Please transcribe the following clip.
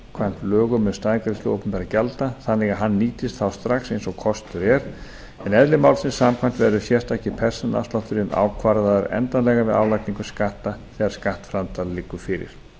samkvæmt lögum um staðgreiðslu opinberra gjalda þannig að hann nýtist þá strax eins og kostur er en eðli málsins samkvæmt verður sérstaki persónuafslátturinn ákvarðaður endanlega við álagningu skatta þegar skattframtal liggur fyrir